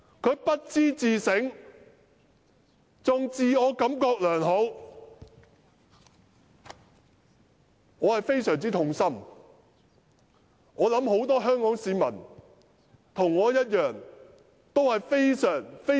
他不但未有自省，還自我感覺良好，令我非常痛心，我相信不少市民也像我一般的痛心。